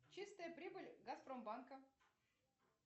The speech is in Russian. чистая прибыль газпромбанка